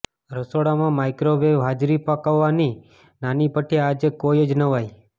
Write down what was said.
રસોડામાં માઇક્રોવેવ હાજરી પકાવવાની નાની ભઠ્ઠી આજે કોઈ જ નવાઈ